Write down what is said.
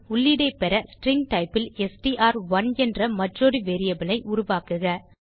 உள்ளீடை பெற string type ல் எஸ்டிஆர்1 என்ற மற்றொரு வேரியபிள் ஐ உருவாக்குக